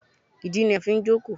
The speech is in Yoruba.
ìdí ni a n fí jòkó